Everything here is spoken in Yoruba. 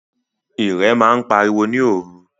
Írẹ̀ màa n pàriwo ni oru